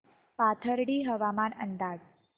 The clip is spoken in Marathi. पाथर्डी हवामान अंदाज